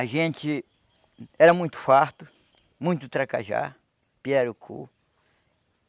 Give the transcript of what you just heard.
A gente era muito farto, muito tracajá, pirarucu.